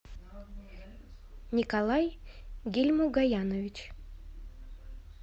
николай гильмугаянович